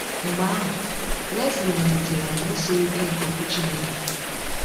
Mgbe ahụ, Lesley malitere ọmụmụ siri ike nke Okwu Chineke.